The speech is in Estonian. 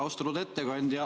Austatud ettekandja!